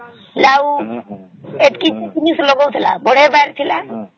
ଲାଉ ଏତିକି ଜିନିଷ ସବୁ ଲଗାଉଥିଲା ବଢିଆ ବାହାରି ଥିଲା